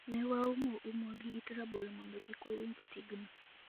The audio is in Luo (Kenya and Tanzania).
"Ne waumo umwa gi it rabolo mondo kik wawinj tigno".